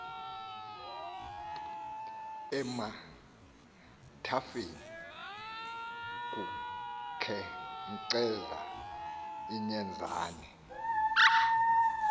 emathafeni kukhenkceza inyenzane